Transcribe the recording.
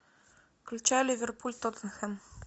включай ливерпуль тоттенхэм